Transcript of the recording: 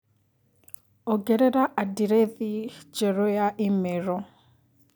ongerera andirethi njerũ ya i-mīrū